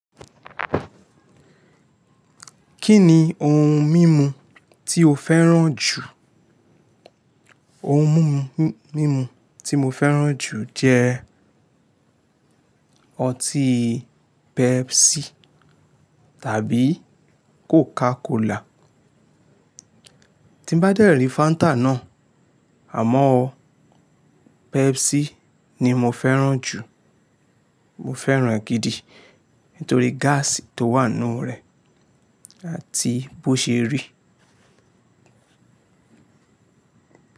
Kí ni ohun mímu tí o fẹ́ràn jù? Ohun mumu, mímu tí mo fẹ́ràn jù jẹ́ ọtí Pepsi tàbí Coca Cola. Tí n bá dẹ́rì Fanta náà, àmọ́ o Pepsi ni mo fẹ́ràn jù. Mo fẹ́ràn e gidi nítorí gáàsì tó wà nínú rẹ̀ àti bó ṣe rí.